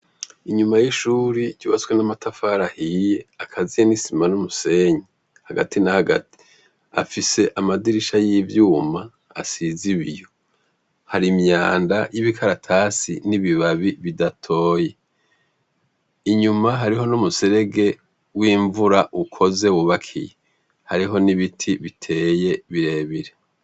Inyuma y’ishure ryubatse n’amatafari ahiye ,akaziye n’isima n’umusenyi, hagati na hagati, afise amadirisha y’ivyuma , asiz’ibiyo, har’imyanda y’ibikaratasi n’ibibabi bidatoye. Inyuma hariho n’umuserege w’imvura , ukoze wubakiye. Hariho nibiti biteye, birebire.